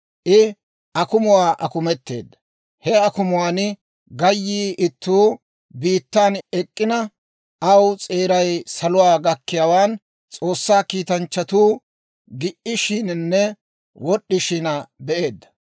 I akumuwaa akumeteedda; he akumuwaan gayyiyaa ittuu biittan ek'k'ina, aw s'eeray saluwaa gakkiyaawaan, S'oossaa kiitanchchatuu gi"ishiinanne wod'd'ishin be'eedda;